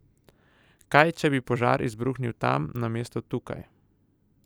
Kaj, če bi požar izbruhnil tam namesto tukaj?